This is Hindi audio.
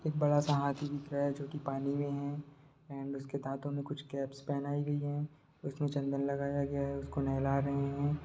एक बड़ा सा हाथी दिख रहा है जो कि पानी में है एण्ड उसके दांतों में कुछ कैप्स पहनाई गई हैं उसमें चंदन लगाया गया है उसको नहला रहे हैं।